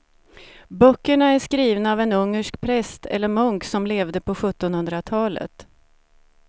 Böckerna är skrivna av en ungersk präst eller munk som levde på sjuttonhundratalet.